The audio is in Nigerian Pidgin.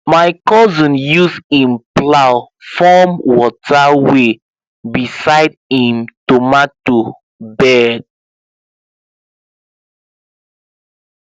my cousin use him plow form water way beside him tomato bed